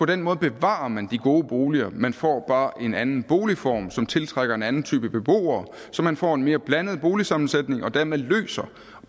den måde bevarer men de gode boliger man får bare en anden boligform som tiltrækker en anden type beboere så man får en mere blandet boligsammensætning og dermed